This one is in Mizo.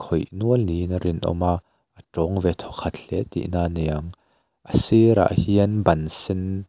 khawih nual niin a rinawm a a tawng ve thawkhat hle tihna niang a sirah hian ban sen--